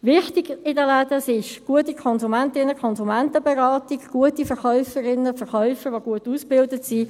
Wichtig ist in den Läden eine gute Konsumentinnen-/ Konsumentenberatung, gute Verkäuferinnen/Verkäufer, die gut ausgebildet sind.